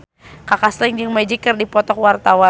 Kaka Slank jeung Magic keur dipoto ku wartawan